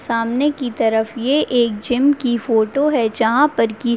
सामने की तरफ ये एक जिम की फोटो है जहाँ पर की --